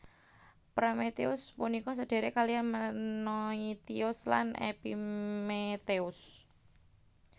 Prometheus punika sedhèrèk kalihan Menoitios lan Epimetheus